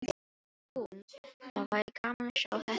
Hún: Það væri gaman að sjá þetta í lit.